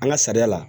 An ka sariya la